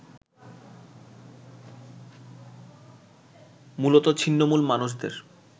মুলত ছিন্নমুল মানুষদের